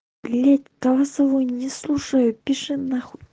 блютусову не слушаю пиши на хуй